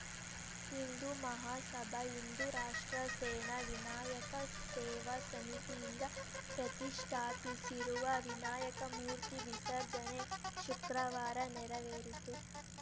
ಹಿಂದೂ ಮಹಾಸಭಾಹಿಂದೂ ರಾಷ್ಟ್ರ ಸೇನಾ ವಿನಾಯಕ ಸೇವಾ ಸಮಿತಿಯಿಂದ ಪ್ರತಿಷ್ಠಾಪಿಸಿರುವ ವಿನಾಯಕ ಮೂರ್ತಿ ವಿಸರ್ಜನೆ ಶುಕ್ರವಾರ ನೆರವೇರಿತು